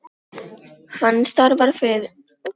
Hann starfar við að vera andvígur umferðarslysum.